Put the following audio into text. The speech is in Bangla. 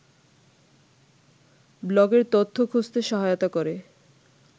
ব্লগের তথ্য খুঁজতে সহায়তা করে